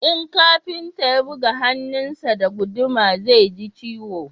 in kafinta ya buga hannun sa da guduma zai ji ciwo